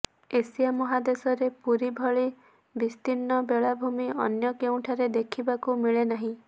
Asia ମହାଦେଶରେ ପୁରୀ ଭଳି ବିସ୍ତୀର୍ଣ୍ଣ ବେଳାଭୂମି ଅନ୍ୟ କେଉଁଠାରେ ଦେଖିବାକୁ ମିଳେନାହିଁ